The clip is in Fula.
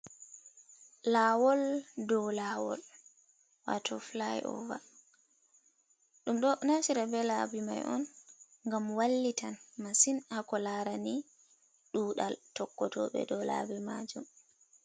Lawol dow lawol, wato fly over ɗum ɗo naftira be labi mai on gam wallitan masin hako larani ɗuɗal tokkoje tobe, dow labi majum.